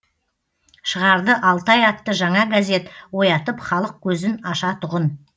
шығарды алтай атты жаңа газет оятып халық көзін ашатұғын